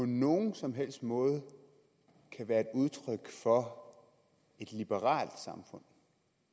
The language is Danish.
nogen som helst måde kan være et udtryk for et liberalt samfund